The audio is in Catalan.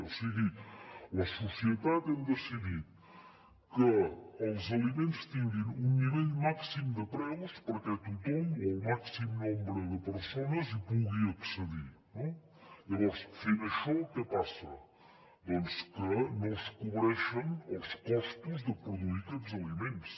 o sigui la societat hem decidit que els aliments tinguin un nivell màxim de preus perquè tothom o el màxim nombre de persones hi pugui accedir no llavors fent això què passa doncs que no es cobreixen els costos de produir aquests aliments